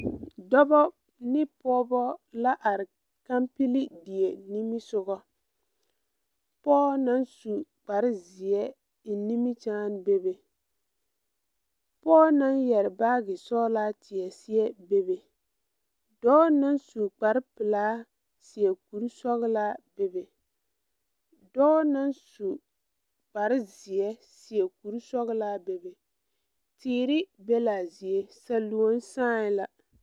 Dɔbɔ ne pɔɔbɔ la are kampile die nimisugɔ pɔɔ naŋ su kparezeɛ eŋ nimikyaane bebe pɔɔ naŋ yɛre baagi sɔglaa teɛ seɛ bebe dɔɔ naŋ su kparepelaa seɛ kurisɔglaa bebe dɔɔ naŋ su kparezeɛ seɛ kurisɔglaa bebe teere ba laa zie saluone sããi la.